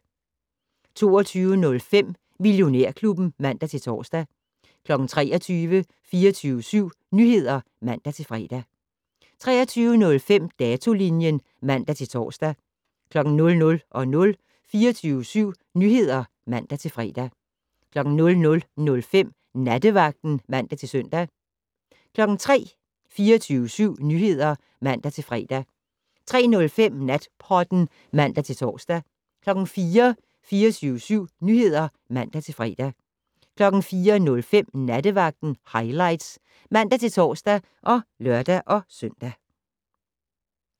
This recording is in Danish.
22:05: Millionærklubben (man-tor) 23:00: 24syv Nyheder (man-fre) 23:05: Datolinjen (man-tor) 00:00: 24syv Nyheder (man-fre) 00:05: Nattevagten (man-søn) 03:00: 24syv Nyheder (man-fre) 03:05: Natpodden (man-tor) 04:00: 24syv Nyheder (man-fre) 04:05: Nattevagten Highlights (man-tor og lør-søn)